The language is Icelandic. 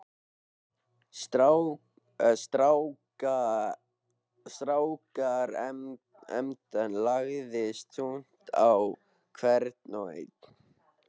Strákaremban lagðist þungt á hvern og einn.